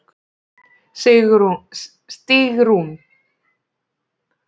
Stígrún, hvað heitir þú fullu nafni?